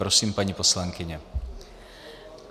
Prosím, paní poslankyně.